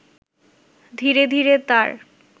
ধীরে ধীরে তার